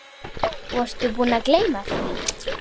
Varstu búinn að gleyma því?